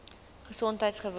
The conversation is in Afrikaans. gesondheidgewoon